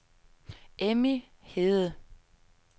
Emmy Hede